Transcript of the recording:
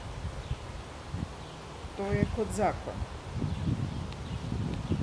To je kot zakon.